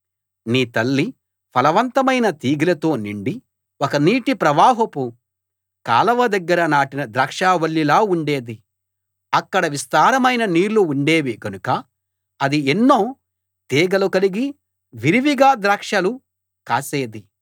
నీ తల్లి ఫలవంతమైన తీగెలతో నిండి ఒక నీటి ప్రవాహపు కాలవ దగ్గర నాటిన ద్రాక్షావల్లిలా ఉండేది అక్కడ విస్తారమైన నీళ్ళు ఉండేవి గనుక అది ఎన్నో తీగలు కలిగి విరివిగా ద్రాక్షలు కాసేది